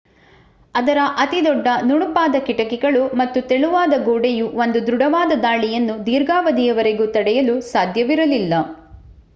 ಅದರ ಅತಿದೊಡ್ಡ ನುಣುಪಾದ ಕಿಟಕಿಗಳು ಮತ್ತು ತೆಳುವಾದ ಗೋಡೆಯು ಒಂದು ದೃಡವಾದ ದಾಳಿಯನ್ನು ದೀರ್ಘಾವಧಿಯವರೆಗೂ ತಡೆಯಲು ಸಾಧ್ಯವಿರಲಿಲ್ಲ